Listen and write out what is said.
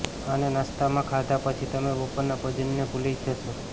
આને નાસ્તામાં ખાધા પછી તમે બપોરના ભોજનને ભૂલી જ જશો